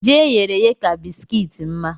Ji eyere èyé ka bisikiiti mma